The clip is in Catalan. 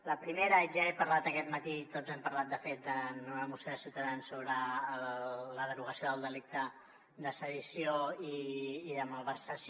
la primera ja he parlat aquest matí tots n’hem parlat de fet en una moció de ciutadans sobre la derogació del delicte de sedició i de malversació